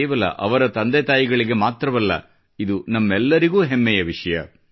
ಕೇವಲ ಅವರ ತಂದೆತಾಯಿಗೆ ಮಾತ್ರವಲ್ಲ ಇದು ನಮ್ಮೆಲ್ಲರಿಗೂ ಹೆಮ್ಮೆಯ ವಿಷಯ